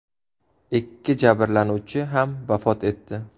Ikki jabrlanuvchi ham vafot etdi.